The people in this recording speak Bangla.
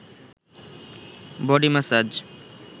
body massage